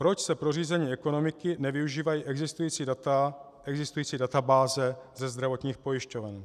Proč se pro řízení ekonomiky nevyužívají existující data, existující databáze ze zdravotních pojišťoven.